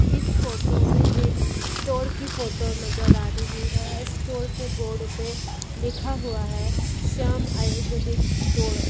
इस फोटो में एक स्टोर की फोटो नजर आ रही है स्टोर के बोर्ड पे लिखा हुआ है श्याम आयुर्वेदिक स्टोर ।